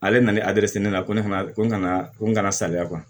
Ale nalen ne na ko ne fana ko n kana ko n kana salaya